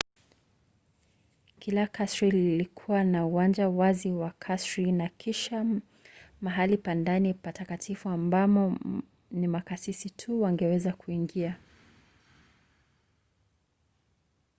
kila kasri lilikuwa na uwanja wazi wa kasri na kisha mahali pa ndani patakatifu ambamo ni makasisi tu wangeweza kuingia